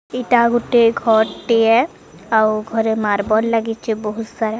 ଏଇଟା ଗୁଟେ ଘର୍ ଟିଏ ଆଉ ଘରେ ମାର୍ବଲ ଲାଗିଛି ବହୁତ୍ ସାରା।